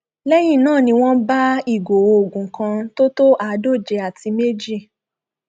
lẹyìn náà ni wọn bá ìgò oògùn kan tó tó àádóje àti méjì